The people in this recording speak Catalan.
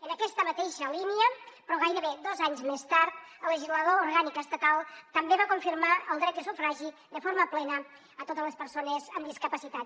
en aquesta mateixa línia però gairebé dos anys més tard el legislador orgànic estatal també va confirmar el dret de sufragi de forma plena a totes les persones amb discapacitat